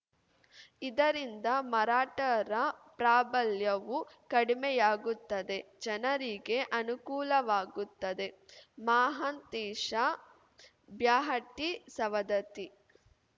ಇದರಿಂದ ಮರಾಠರ ಪ್ರಾಬಲ್ಯವೂ ಕಡಿಮೆಯಾಗುತ್ತದೆ ಜನರಿಗೆ ಅನುಕೂಲವಾಗುತ್ತದೆ ಮಹಾಂತೇಶ ಬ್ಯಾಹಟ್ಟಿಸವದತ್ತಿ